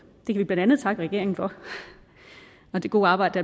det kan vi blandt andet takke regeringen for og det gode arbejde